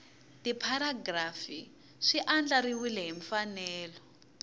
tipharagirafu swi andlariwile hi mfanelo